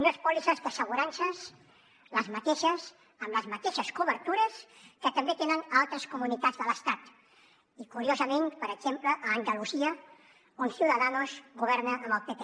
unes pòlisses d’assegurances les mateixes amb les mateixes cobertures que també tenen altres comunitats de l’estat i curiosament per exemple a andalusia on ciudadanos governa amb el pp